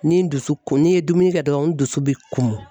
Ni n dusu ko n'i ye dumuni kɛ dɔrɔn n dusu bɛ kumun